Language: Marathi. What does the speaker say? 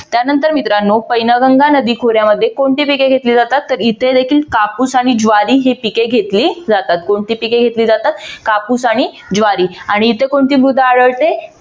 त्यानंतर मित्रानो पैनगंगा नदीखोऱ्यामध्ये कोणती पिके घेतली जातात? तर इथे देखील कापूस आणि ज्वारी ही पिके घेतली जातात. कोणती पिके घेतली जातात? कापूस आणि ज्वारी. आणि इथे कोणती मृदा आढळते?